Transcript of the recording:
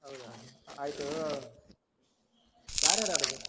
ಹೌದಾ? ಆಯ್ತು ಯಾರ್ ಯಾರ್ ಆಡುದು?